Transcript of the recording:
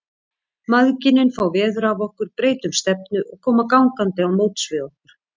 Mæðginin fá veður af okkur, breyta um stefnu og koma gangandi á móts við okkur.